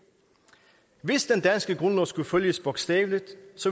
hvis den danske grundlov skulle følges bogstaveligt